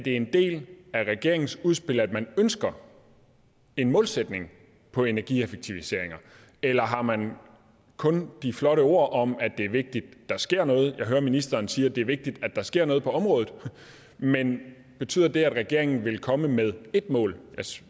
en del af regeringens udspil at man ønsker en målsætning for energieffektiviseringer eller har man kun de flotte ord om at det er vigtigt der sker noget jeg hører ministeren sige at det er vigtigt der sker noget på området men betyder det at regeringen vil komme med ét mål